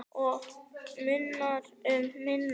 Og munar um minna!